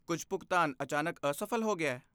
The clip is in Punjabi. ਕੁਝ ਭੁਗਤਾਨ ਅਚਾਨਕ ਅਸਫ਼ਲ ਹੋ ਗਿਆ?